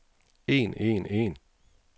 en en en